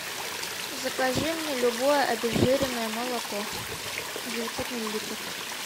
закажи мне любое обезжиренное молоко девятьсот миллилитров